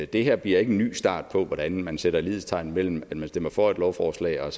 det her bliver ikke en ny start på hvordan man sætter lighedstegn mellem at man stemmer for et lovforslag og